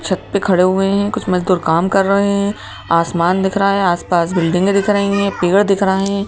छत पे खड़े हुए हैं कुछ मजदूर काम कर रहे हैं आसमान दिख रहा है आस पास बिल्डिंगे दिख रही हैं पेड़ दिख रहे हैं।